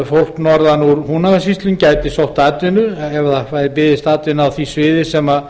fólk norðan úr húnavatnssýslum gæti sótt atvinnu ef því byðist atvinna á því sviði sem